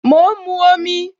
Mo ń mu omi